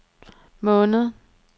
måned